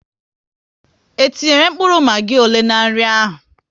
Ee etinyere mkpụrụ magi abụọ n'nri ahu